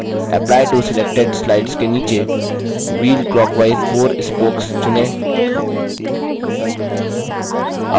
apply to selected slides के नीचे wheel clockwise 4 spokes चुनें